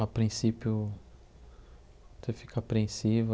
a princípio, você fica apreensivo.